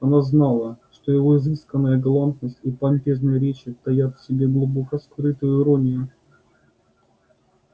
она знала что его изысканная галантность и помпезные речи таят в себе глубоко скрытую иронию